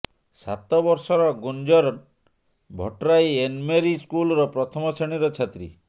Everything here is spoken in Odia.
ସାତ ବର୍ଷର ଗୁନ୍ଜନ୍ ଭଟ୍ଟରାଇ ଏନ୍ମେରି ସ୍କୁଲର ପ୍ରଥମ ଶ୍ରେଣୀର ଛାତ୍ରୀ